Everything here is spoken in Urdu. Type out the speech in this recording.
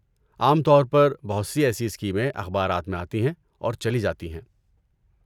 عام طور پر، بہت سی ایسی اسکیمیں اخبارات میں آتی ہیں اور چلی جاتی ہیں۔